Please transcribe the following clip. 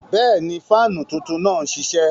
Bẹ́ẹ̀ni, faanú tuntun naá n ṣiṣẹ.